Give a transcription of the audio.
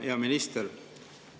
Hea minister!